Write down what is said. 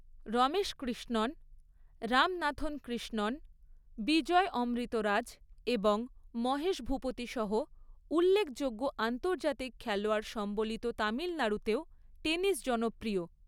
রমেশ কৃষ্ণণ, রামনাথন কৃষ্ণণ, বিজয় অমৃতরাজ এবং মহেশ ভূপতি সহ উল্লেখযোগ্য আন্তর্জাতিক খেলোয়াড় সম্বলিত তামিলনাড়ুতেও টেনিস জনপ্রিয়।